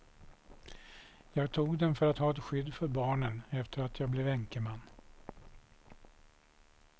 Jag tog den för att ha ett skydd för barnen efter att jag blev änkeman.